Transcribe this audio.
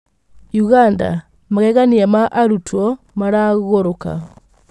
ũganda: Magegania ma arutwo ' maragũrũka'